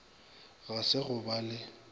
ga se go ba le